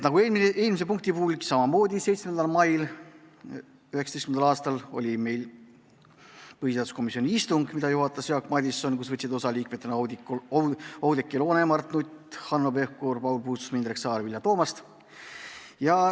Samamoodi 7. mail 2019. aastal oli meil põhiseaduskomisjoni istung, mida juhatajas Jaak Madison ja millest võtsid liikmetena osa Oudekki Loone, Mart Nutt, Hanno Pevkur, Paul Puustusmaa, Indrek Saar ja Vilja Toomast.